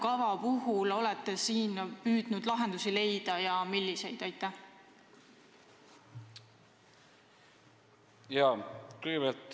Kas olete siin püüdnud metsanduse arengukava abil lahendusi leida ja kui jah, siis milliseid?